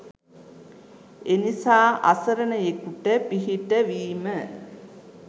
එනිසා අසරණයෙකුට පිහිටවීම